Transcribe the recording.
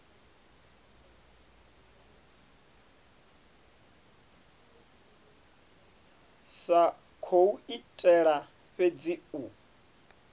sa khou itela fhedzi u